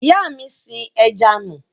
Ìyá mi sin ẹja nù.